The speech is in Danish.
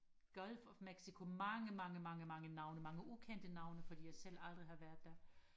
Gulf of Mexico mange mange mange mange navne mange ukendte navne fordi jeg selv aldrig har været der